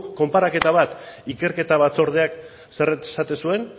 konparaketa bat ikerketa batzordeak zer esaten zuen